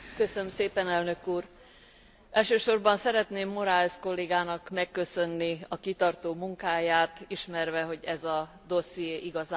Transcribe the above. Elsősorban szeretném Moraes kollégának megköszönni a kitartó munkáját, ismerve, hogy ez a dosszié igazán nem a könnyűek közé tartozik.